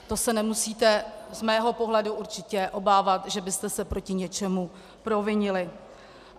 To se nemusíte z mého pohledu určitě obávat, že byste se proti něčemu provinili.